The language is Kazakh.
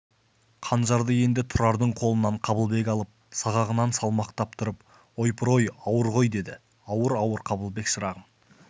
қанжарды енді тұрардың қолынан қабылбек алып сағағынан салмақтап тұрып ойпыр-ой ауыр ғой деді ауыр-ауыр қабылбек шырағым